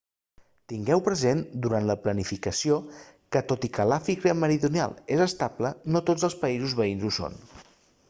tingueu present durant la planificació que tot i que l'àfrica meridional és estable no tots els països veïns ho són